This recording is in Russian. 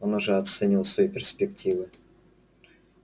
он уже оценивал свои перспективы